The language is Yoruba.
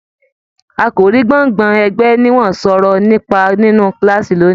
Àkòrí gbọ́ngbọ̀n ẹgbẹ ni wọn sọ̀rọ̀ nípa nínú kilaasi lóni